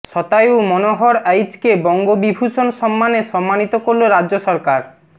শতায়ু মনোহর আইচকে বঙ্গবিভূষণ সম্মানে সম্মানিত করল রাজ্য সরকার